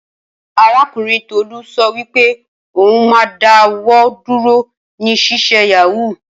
Arakunrin Tolu so wipe oun ma da wọ duro ni sise yahoo.